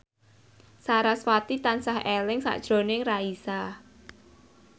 sarasvati tansah eling sakjroning Raisa